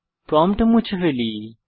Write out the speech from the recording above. prompt মুছে ফেলি